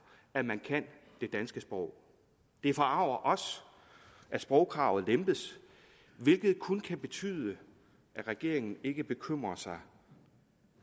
at man kan det danske sprog det forarger os at sprogkravet lempes hvilket kun kan betyde at regeringen ikke bekymrer sig